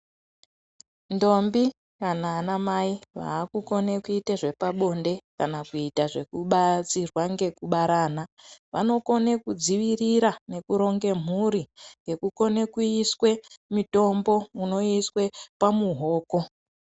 Ndombi kana ana mai vakukone kuita zvepabonde kana kuita zvekubatsirwa nekubara vana vanokona kudzivirira nekuronga mhuri Nekukona kuisa mitombo inoiswa pamuoko.